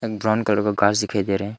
Brown colour का घास दिखाई दे रहा है।